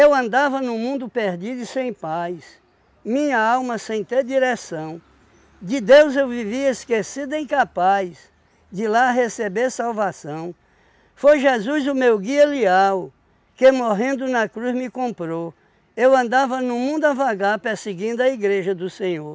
andava num mundo perdido e sem paz Minha alma sem ter direção De Deus eu vivia esquecido e incapaz De lá receber salvação Foi Jesus o meu guia leal Que morrendo na cruz me comprou Eu andava num mundo a vagar Perseguindo a igreja do Senhor